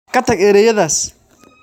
Ka tag erayadaas